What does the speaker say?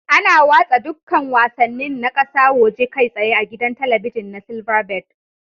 Ana watsa dukkan wasannin na kasa woje kai tsaye a gidan talabijin na silverbird